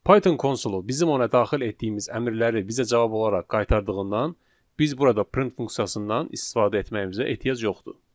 Python konsolu bizim ona daxil etdiyimiz əmrləri bizə cavab olaraq qaytardığından, biz burada print funksiyasından istifadə etməyimizə ehtiyac yoxdur.